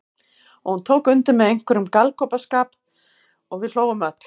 Og hún tók undir með einhverjum galgopaskap og við hlógum öll.